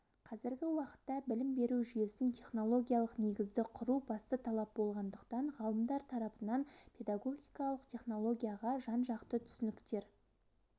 қазіргі уақытта білім беру жүйесін технологиялық негізді құру басты талап болғандықтан ғалымдар тарапынан педагогикалық технологияға жанжақты түсініктер